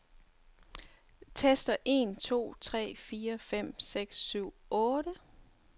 Tester en to tre fire fem seks syv otte.